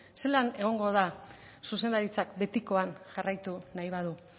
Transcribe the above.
zelan egongo da zuzendaritzak betikoan jarraitu nahi badu